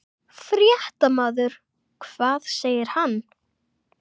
Fréttamaður: Hvað segir hann?